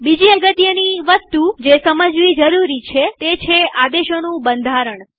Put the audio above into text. બીજી અગત્યની વસ્તુ જે સમજવી જરૂરી છેતે છે આદેશોનું બંધારણ